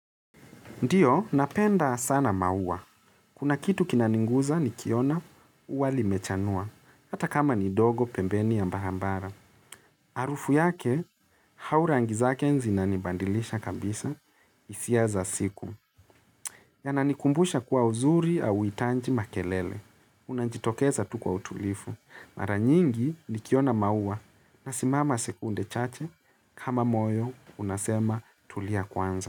Ndiyo, napenda sana maua. Kuna kitu kinaniguza nikiona ua limechanua, hata kama ni ndogo pembeni ya barabara. Harufu yake, au rangi zake zinani badilisha kabisa, hisia za siku. Yananikumbusha kuwa uzuri hauhitaji makelele. Unajitokeza tu kwa utulivu. Mara nyingi nikiona maua nasimama sekunde chache kama moyo unasema tulia kwanza.